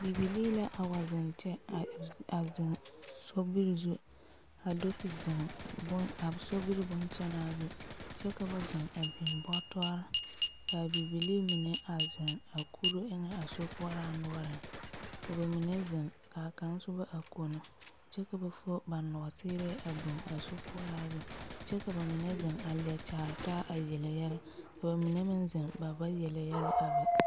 Bibilii la awa zeŋ kyɛ a zeŋ sobiri zu a do te zeŋ boŋ… a sobiri boŋkyɛnaa zu, kyɛ ka ba zeŋ a biŋ bɔtɔre ka a bibilii mine a zeŋ a kure eŋɛ a sokoɔɛraa noɔreŋ ka b mine zeŋ ka a kaŋ soba a kono kyɛka ba fob a nɔɔrɛɛ a biŋ a sokoɔraa zu kyɛ ka ba mine zeŋ a leɛ kyaare taa a yele yɛlɛ. ba mine meŋzeŋ b aba yele yɛlɛ a be.